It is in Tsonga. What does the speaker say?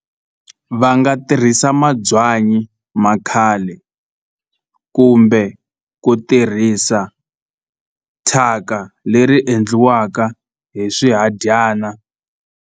Va nga tirhisa mabyanyi ma khale kumbe ku tirhisa thyaka leri endliwaka hi swihadyana.